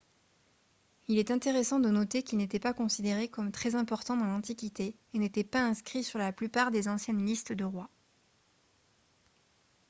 il est intéressant de noter qu'il n'était pas considéré comme très important dans l'antiquité et n'était pas inscrit sur la plupart des anciennes listes de rois